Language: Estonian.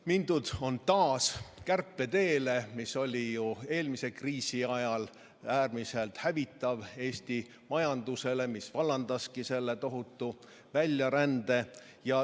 Mindud on taas kärpeteele, mis oli eelmise kriisi ajal Eesti majandusele äärmiselt hävitav, vallandades tohutu väljarände.